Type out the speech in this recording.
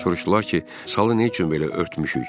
Soruşdular ki, salı nə üçün belə örtmüşük?